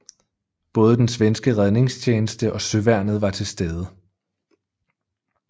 Både den svenske redningstjeneste og Søværnet var til stede